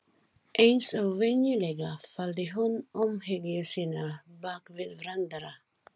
Eins og venjulega, faldi hún umhyggju sína bak við brandara.